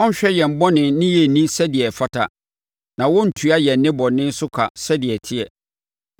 Ɔrenhwɛ yɛn bɔne ne yɛn nni sɛdeɛ ɛfata na ɔrentua yɛn nnebɔne so ka sɛdeɛ ɛteɛ.